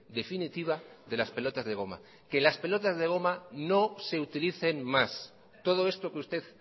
definitiva de las pelotas de goma que las pelotas de goma no se utilicen más todo esto que usted